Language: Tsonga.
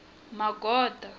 magoda